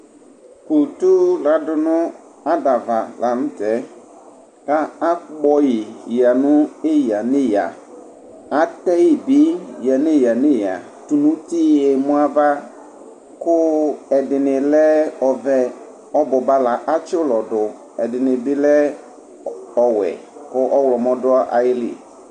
kutu ladunu adava latɛ ka akpɔyi yanu eyaneya ateyi bi neyaneya tu nuti yemou ava ku ɛdini lɛ ovɛ obuba la atsi lɔ du ɛdini bi lɛ ɔwɛ ku ɔwɔmɔ du ayili